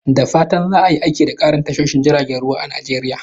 Da fatan za a yi aiki da ƙarin tashoshin jiragen ruwa a Najeriya.